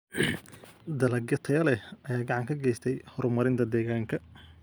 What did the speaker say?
Dalagyo tayo leh ayaa gacan ka geysta horumarinta deegaanka.